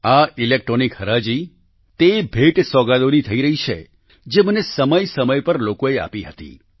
આ ઈલેક્ટ્રોનિક હરાજી તે ભેટસોગાદોની થઈ રહી છે જે મને સમય સમય પર લોકોએ આપી હતી